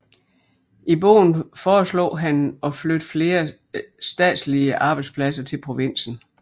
I bogen foreslog han at flytte flere statslige arbejdspladser til provinsen